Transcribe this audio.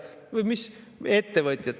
Või mis ettevõtjate?